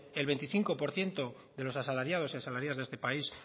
el veinticinco por ciento de los asalariados y asalariadas de este país